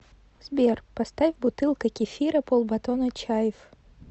сбер поставь бутылка кефира полбатона чайф